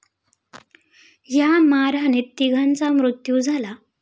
या मारहाणीत तिघांचा मृत्यु झाला.